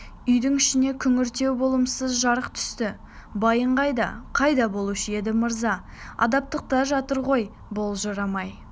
үйдің ішіне күңгірттеу болымсыз жарық түсті байың қайда қайда болушы еді мырза абақтыда жатыр ғой былжырамай